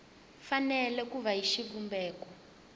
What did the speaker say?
fanele ku va hi xivumbeko